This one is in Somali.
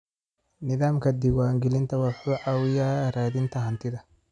Nidaamka diiwaangelinta wuxuu caawiyaa raadinta hantida.